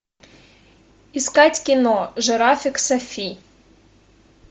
искать кино жирафик софи